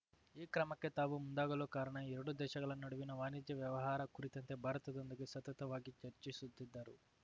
ಈ ಕ್ರಮಕ್ಕೆ ತಾವು ಮುಂದಾಗಲು ಕಾರಣ ಎರಡೂ ದೇಶಗಳ ನಡುವಿನ ವಾಣಿಜ್ಯ ವ್ಯವಹಾರ ಕುರಿತಂತೆ ಭಾರತದೊಂದಿಗೆ ಸತತವಾಗಿ ಚರ್ಚಿಸುತ್ತಿದ್ದರೂ